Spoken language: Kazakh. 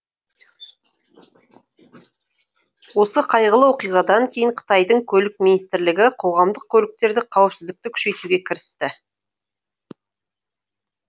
осы қайғылы оқиғадан кейін қытайдың көлік министрлігі қоғамдық көліктерді қауіпсіздікті күшейтуге кірісті